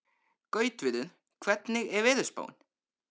Gautviður, hvernig er veðurspáin?